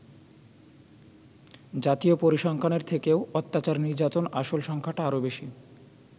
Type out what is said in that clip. জাতীয় পরিসংখ্যানের থেকেও অত্যাচার-নির্যাতনের আসল সংখ্যাটা আরও বেশী।